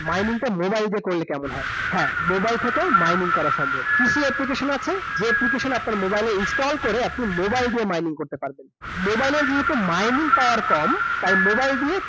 mining টা mobile দিয়ে করলে কেমন হয়। হ্যাঁ mobile থেকেও mining করা সম্ভব । কিছু application আছে যেই application আপনার mobile এ install করে আপনি mobile দিয়ে mining করতে পারবেন । mobile এর যেহেতু mining power কম, তাই mobile দিয়ে